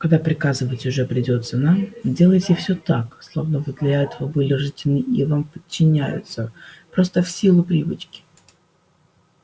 когда приказывать уже придётся нам делайте всё так словно вы для этого были рождены и вам подчиняются просто в силу привычки